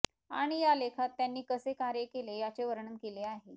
आणि या लेखात त्यांनी कसे कार्य केले याचे वर्णन केले आहे